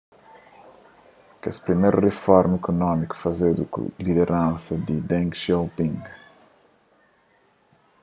kes primerus riformas ikunómikus fazedu ku lideransa di deng xiaoping